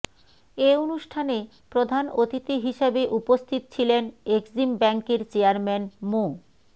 এ অনুষ্ঠানে প্রধান অতিথি হিসেবে উপস্থিত ছিলেন এক্সিম ব্যাংকের চেয়ারম্যান মো